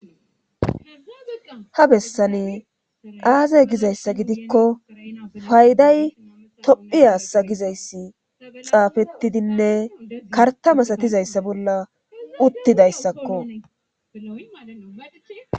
ha bessani aaze gizayssa gidikko fayday tophi hassa gizayssi xaafettidinne karta masatizayssa bolla uttidayssakko